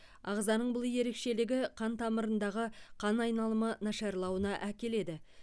ағзаның бұл ерекшелігі қан тамырларындағы қан айналымы нашарлауына әкеледі